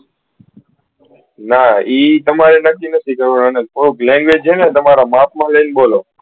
ના એ તમારે નથી નથી કરવાનુ થોડુક language હે ને તમારા માપ મા લઇ ને બોલો